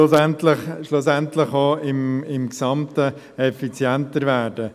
Eben: schlussendlich auch im Gesamten effizienter werden.